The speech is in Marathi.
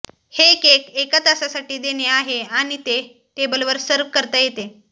हे केक एका तासासाठी देणे आहे आणि ते टेबलवर सर्व्ह करता येते